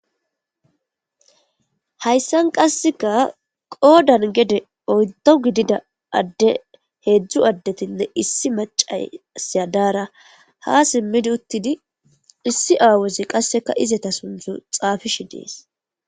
Hayssan qasseka qoodan gede oyto gidida adde heedzdzu addetinne issi macasiyadara ha simmidi uttidi issi aawezi qasseka izeta suntzu xaafish dees.